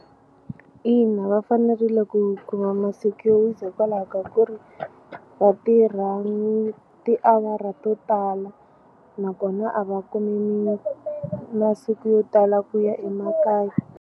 Ina, va fanerile ku kuma masiku yo wisa hikwalaho ka ku ri vatirha ni tiawara to tala nakona a va kumi masiku yo tala ku ya emakaya.